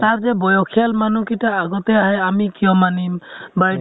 তাৰ যে বয়সিয়াল মানুহ কিটা আগিতে আহে, আমি কিয় মানিম বা এইটো